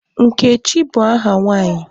Nkechi bụ aha nwaanyị.